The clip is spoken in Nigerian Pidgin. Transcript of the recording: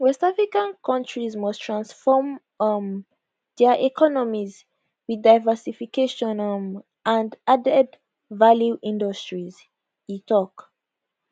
west african countries must transform um dia economies with diversification um and added value industries e tok